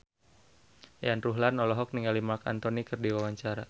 Yayan Ruhlan olohok ningali Marc Anthony keur diwawancara